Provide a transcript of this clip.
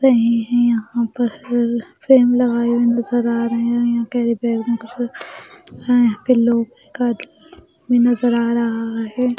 रहे हैं यहाँ पर फ्रेम लगाए हुए नज़र आ रहे हैं यहाँ प्यारे - प्यारे यहाँ पर लोग नज़र आ रहा है।